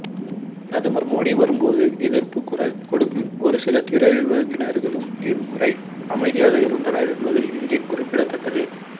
பிரதமர் மோடி வரும்போது எதிர்ப்புக்குரல் கொடுக்கும் ஒருசில திரையுலகினர்களும் இம்முறை அமைதியாக இருந்தனர் என்பதும் இங்கே குறிப்பிடத்தக்கது